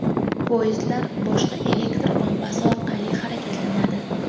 Poyezdlar boshqa elektr manbasi orqali harakatlanadi.